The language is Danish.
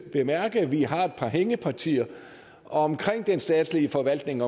bemærke at vi har et par hængepartier omkring den statslige forvaltning